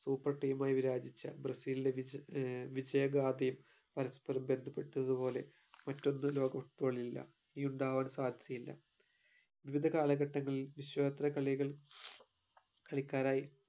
super team ആയി വിരാചിച്ച ബ്രസീലിന്റെ ആഹ് വിജയഗാഥയും പരസ്പരം ബന്ധപ്പെട്ടതുപോലെ മറ്റൊന്നും ലോക football ഇൽ ഇല്ല ഇനി ഉണ്ടാവാനും സാധ്യതയില്ല വിവിധ കാലഘട്ടങ്ങളിൽ വിശ്വാമിത്ര കളികൾ കളിക്കാരായി